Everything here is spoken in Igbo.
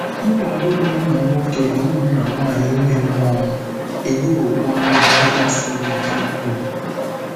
Nkwado ụmụnna nwoke na ụmụnna nwanyị ime mmụọ m enyewokwa m nkasi obi dị ukwuu.